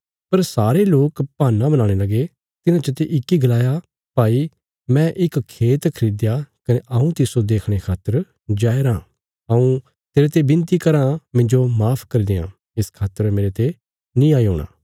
पर सारे लोक बहान्ना बनाणे लगे तिन्हां चते इक्की गलाया भाई मैं इक खेत खरीदया कने हऊँ तिस्सो देखणे खातर जाया राँ हऊँ तेरते विनती कराँ मिन्जो माफ करी देआं इस खातर मेरते नीं आई हूणा